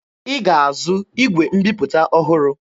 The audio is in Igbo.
Ị ga-azụ igwe mbiputa ọhụrụ!